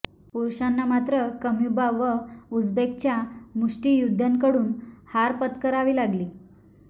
पुरुषांना मात्र क्मयुबा व उझ्बेकच्या मुष्टियोद्धय़ांकडून हार पत्करावी लागली